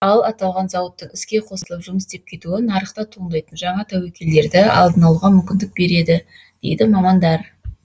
ал аталған зауыттың іске қосылып жұмыс істеп кетуі нарықта туындайтын жаңа тәуекелдерді алдын алуға мүмкіндік береді дейді мамандар